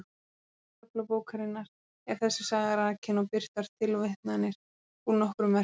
Í öðrum kafla bókarinnar er þessi saga rakin og birtar tilvitnanir úr nokkrum verkum.